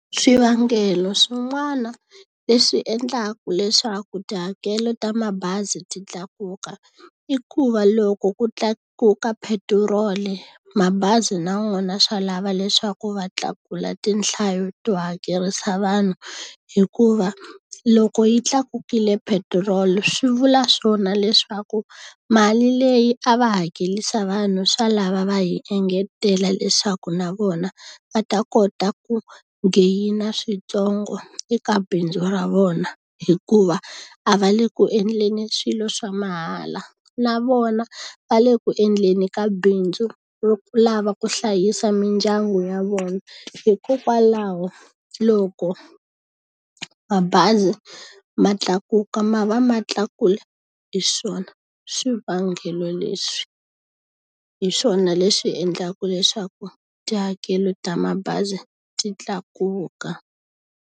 Swivangelo swin'wana leswi endlaka leswaku tihakelo ta mabazi ti tlakuka, i ku va loko ku tlakuka petiroli mabazi na wona swa lava leswaku va tlakuka tinhlayo to hakerisa vanhu. Hikuva loko yi tlakukile petiroli swi vula swona leswaku mali leyi a va hakerisa vanhu swa lava va hi engetela leswaku na vona va ta kota ku geyina swintsongo eka bindzu ra vona. Hikuva a va le ku endleni swilo swa mahala, na vona va le ku endleni ka bindzu ro ku lava ku hlayisa mindyangu ya vona. Hikokwalaho loko mabazi ma tlakuka ma va ma tlakula hi swona swivangelo leswi. Hi swona leswi endlaka leswaku tihakelo ta mabazi ti tlakuka.